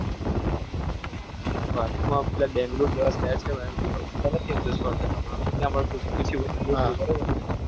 બસ માં પેલા બેંગ્લોર જેવા set છે બરોબર ને?